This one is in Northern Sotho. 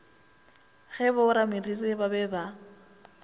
ge borameriri ba be ba